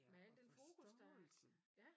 Med al den fokus der er